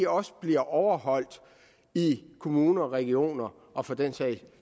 også bliver overholdt i kommuner og regioner og for den sags